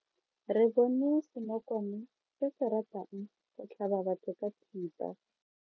Re bone senokwane se se ratang go tlhaba batho ka thipa.